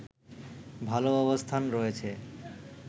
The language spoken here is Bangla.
ভালো অবস্থান রয়েছে